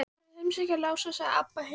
Bara að heimsækja Lása, sagði Abba hin.